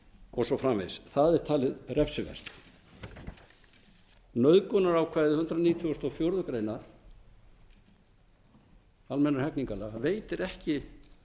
og svo framvegis það er talið refsivert nauðgunarákvæði hundrað nítugasta og fjórðu grein almennra hegningarlaga veitir ekki